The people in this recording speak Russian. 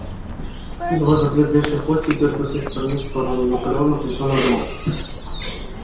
его затвердевший хвостик дёргался из стороны в сторону наполеон напряжённо думал